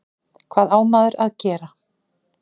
Hvað á maður að gera?